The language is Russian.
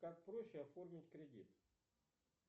как проще оформить кредит